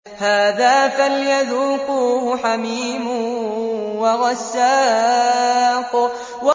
هَٰذَا فَلْيَذُوقُوهُ حَمِيمٌ وَغَسَّاقٌ